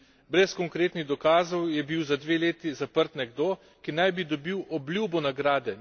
Brez konkretnih dokazov je bil za dve leti zaprt nekdo, ki naj bi dobil obljubo nagrade.